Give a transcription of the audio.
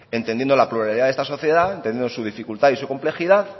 entendiendo la pluralidad de esta sociedad entendiendo su dificultad y su complejidad